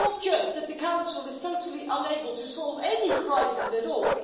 It's not just that the Council is totally unable to solve any crisis at all